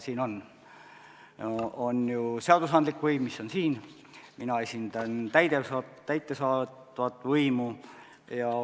Siin on ju seadusandlik võim, mina esindan täidesaatvat võimu.